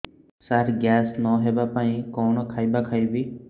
ସାର gas ନ ହେବା ପାଇଁ କଣ ଖାଇବା ଖାଇବି